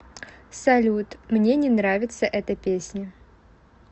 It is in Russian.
салют мне не нравится эта песня